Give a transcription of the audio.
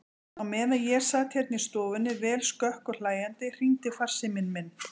Á meðan ég sat hérna í stofunni, vel skökk og hlæjandi, hringdi farsíminn minn.